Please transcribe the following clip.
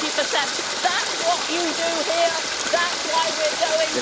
40. That's what you do here, that's why we're going.